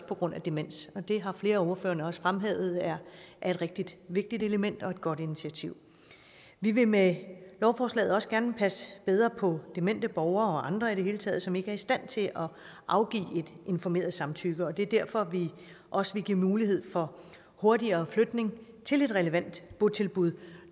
på grund af demens det har flere af ordførerne også fremhævet er et rigtig vigtigt element og et godt initiativ vi vil med lovforslaget også gerne passe bedre på demente borgere og andre i det hele taget som ikke er i stand til at afgive et informeret samtykke det er derfor vi også vil give mulighed for hurtigere flytning til et relevant botilbud